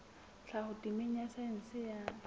tlhaho temeng ya saense ya